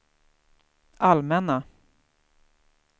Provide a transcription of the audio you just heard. allmänna